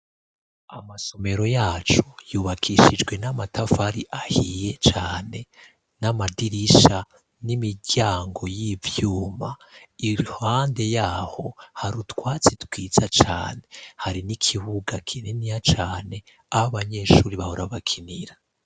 Amasomero yacu yubakishijwe n'amatafari ahiye cane, n'amadirisha n'imiryango y'ivyuma. Iruhande yaho hari utwatsi twiza cane, hari n'ikibuga kiniya cane aho abanyeshuri bahora bakinira.